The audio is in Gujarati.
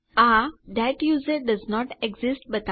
આ થત યુઝર ડોએસન્ટ એક્સિસ્ટ્સ